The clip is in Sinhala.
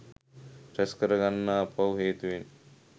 රැස් කරගන්නා පව් හේතුවෙන්